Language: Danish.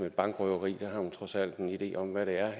bankrøveri der har man trods alt en idé om hvad det er